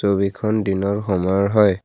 ছবিখন দিনৰ সময়ৰ হয়।